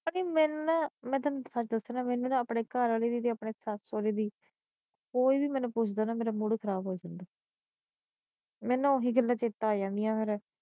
ਅੜੀਏ ਮੈਨੂੰ ਨਾ ਮੈ ਤੈਨੂੰ ਸੱਚ ਦਸਾ ਨਾ ਮੈਨੂੰ ਨਾ ਆਪਣੇ ਘਰਵਾਲੇ ਦੀ ਤੇ ਆਪਣੀ ਸੱਸ ਸੋਹਰੇ ਦੀ ਕੋਈ ਵੀ ਮੈਨੂੰ ਪੁੱਛਦਾ ਨਾ ਮੇਰਾ ਮੂਡ ਖਰਾਬ ਹੋ ਜਾਂਦਾ ਮੈਨੂੰ ਓਹੀ ਗੱਲਾਂ ਚੇਤੇ ਆ ਜਾਂਦੀਆਂ ਫਿਰ